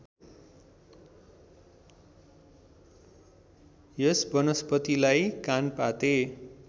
यस वनस्पतिलाई कानपाते